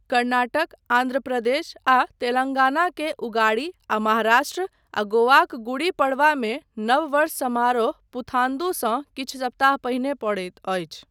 कर्नाटक, आन्ध्र प्रदेश, आ तेलंगाना के उगाड़ी आ महाराष्ट्र, आ गोवाक गुडी पड़वामे नव वर्ष समारोह पुथान्दू सँ किछु सप्ताह पहिने पड़ैत अछि।